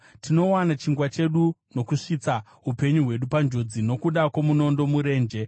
Tinowana chingwa chedu nokuisa upenyu hwedu munjodzi, nokuda kwomunondo murenje.